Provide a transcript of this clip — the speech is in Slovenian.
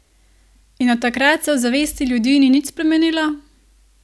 In od takrat se v zavesti ljudi ni nič spremenilo?